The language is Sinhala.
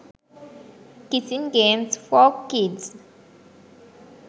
kissing games for kids